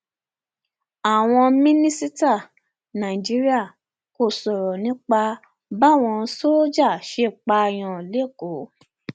àwọn mínísítà nàìjíríà kò sọrọ nípa báwọn sójà ṣe pààyàn lẹkọọ